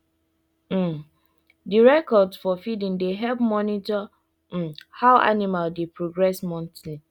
um dey records for feeding dey help monitor um how animal dey progress monthly